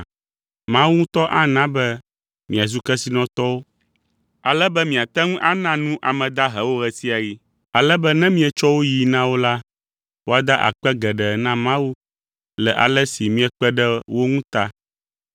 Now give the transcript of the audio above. Mawu ŋutɔ ana be miazu kesinɔtɔwo ale be miate ŋu ana nu ame dahewo ɣe sia ɣi, ale be ne míetsɔ wo yii na wo la, woada akpe geɖe na Mawu le ale si miekpe ɖe wo ŋu ta.